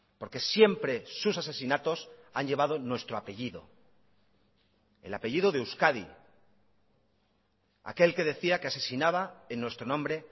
porque siempre sus asesinatos han llevado nuestro apellido el apellido de euskadi aquel que decía que asesinaba en nuestro nombre